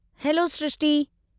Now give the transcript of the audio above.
Hello Srishti!